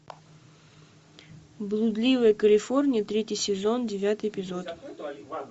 блудливая калифорния третий сезон девятый эпизод